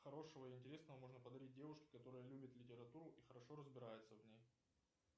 хорошего и интересного можно подарить девушке которая любит литературу и хорошо разбирается в ней